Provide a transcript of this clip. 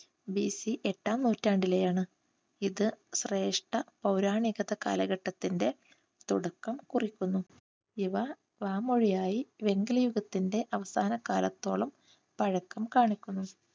BC എട്ടാം നൂറ്റാണ്ടിലെയാണ്. ഇത് ശ്രേഷ്ഠ പൗരാണിക കാലഘട്ടത്തിന്റെ തുടക്കം കുറിക്കുന്നു. ഇവ വാമൊഴിയായി വെങ്കലയുഗത്തിന്റെ അവസാന കാലത്തോളം പഴക്കം കാണിക്കുന്നു.